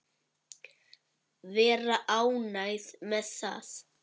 Vera ánægð með það.